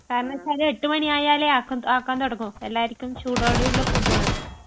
കാരണം ന്നു വച്ചാല് 8 മണി ആയാലേ ആക്കാൻ തുടങ്ങൂ...എല്ലാർക്കും ചൂടോടെയുള്ള ഫുഡ് വേണം.